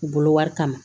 U bolo wari kama